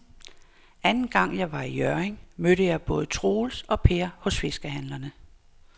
Anden gang jeg var i Hjørring, mødte jeg både Troels og Per hos fiskehandlerne.